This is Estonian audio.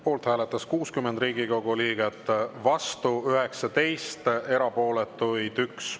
Poolt hääletas 60 Riigikogu liiget, vastu 19, erapooletuid 1.